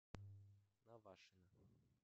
навашино